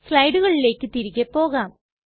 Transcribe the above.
സ്ലയ്ടുകളിലെക് തിരികെ പോകാം